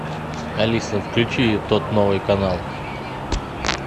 алиса включи тот новый канал